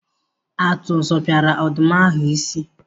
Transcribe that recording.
Atụ zọpiara ọdụm ahụ isi.